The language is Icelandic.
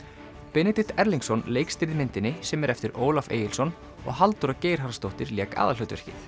Benedikt Erlingsson leikstýrði myndinni sem er eftir Ólaf Egilsson og Halldóra Geirharðsdóttir lék aðalhlutverkið